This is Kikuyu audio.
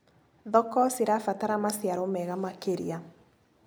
Thoko cirabatara maciaro mega makĩria.